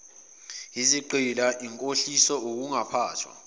izigqila inkohliso ukungaphathwa